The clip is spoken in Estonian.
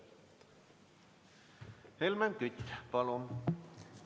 Helmen Kütt, palun!